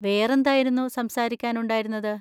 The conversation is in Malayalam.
വേറെന്തായിരുന്നു സംസാരിക്കാനുണ്ടായിരുന്നത്?